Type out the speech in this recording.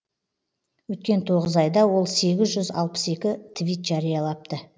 өткен тоғыз айда ол сегіз жүз алпыс екі твит жариялапты